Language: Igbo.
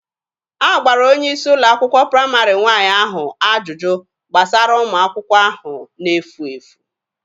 A gbara onye isi ụlọ akwụkwọ praịmarị nwaanyị ahụ ajụjụ gbasara ụmụ akwụkwọ ahụ na-efu efu.